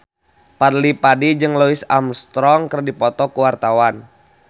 Fadly Padi jeung Louis Armstrong keur dipoto ku wartawan